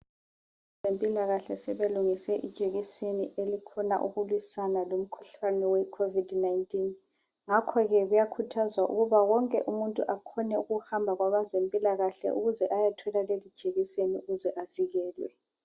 Abazempilakahle sebelungise ijekiseni elikhona ukulwisana lomkhuhlane we COVID-19.Ngakho ke kuyakhuthazwa ukuba wonke umuntu akhone ukuhamba kwabeze mpilakahle ukuze ayethola leli jekiseni ukuze avikelwe